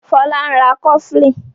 Fola ń rá cofflin